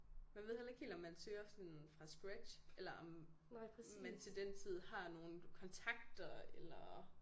Man ved heller ikke helt om man søger sådan fra scratch eller om man til den tid har nogle kontakter eller